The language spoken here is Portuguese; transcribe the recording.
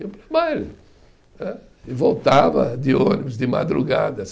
E voltava de ônibus de madrugada.